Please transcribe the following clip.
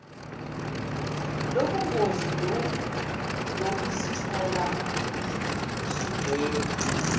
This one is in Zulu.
lobungozi lokuzithola usuvela